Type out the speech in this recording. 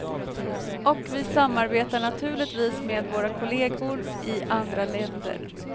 Och vi samarbetar naturligtvis med våra kolleger i andra länder.